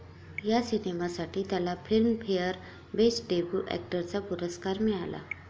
या सिनेमासाठी त्याला फिल्म फेयर बेस्ट डेब्यू अॅक्टरचा पुरस्कार मिळाला.